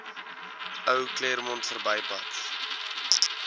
ou claremont verbypad